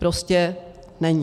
Prostě není.